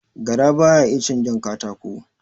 Gara baya iya cin jan katako